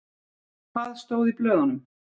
Hvað stóð í blöðunum?